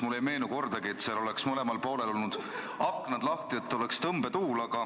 Mulle ei meenu kordagi, et seal oleks mõlemal poolel olnud aknad lahti, nii et oleks tõmbetuul.